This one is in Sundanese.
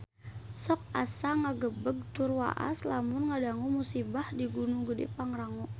Sok asa ngagebeg tur waas lamun ngadangu musibah di Gunung Gedhe Pangrango